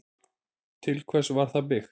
Til hvers var það byggt?